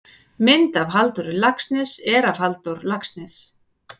Mynd af Halldóri Laxness er af Halldór Laxness.